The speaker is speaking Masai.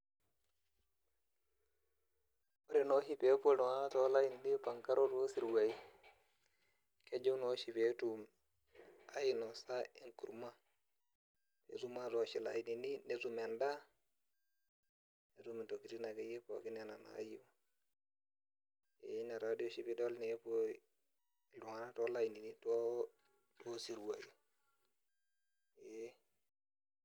Ore noshi pepuo iltung'anak tolainini oipangaro siruai, kejo noshi petum ainosa enkurma. Netum atoosh ilainini netum endaa, netum intokiting akeyie pookin enaa naayieu. Pe ina tooshi pidol nepuo iltung'anak tolainini duo to siruai, ee.